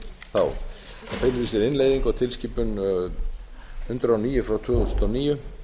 þá það felur í sér innleiðingu á tilskipun hundrað og níu tvö þúsund og níu